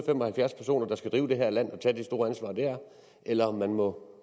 og halvfjerds personer der skal drive det her land og tage det store ansvar det er eller om man må